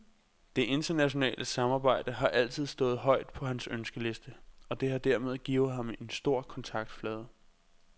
Det internationale samarbejde har altid stået højt på hans ønskeliste, og det har dermed givet ham en stor kontaktflade.